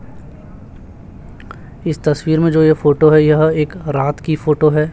इस तस्वीर में जो यह फोटो है यह एक रात की फोटो है।